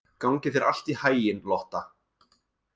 Gangi þér allt í haginn, Lotta.